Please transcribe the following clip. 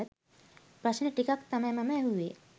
ප්‍රශ්න ටිකක් තමයි මම ඇහුවේ.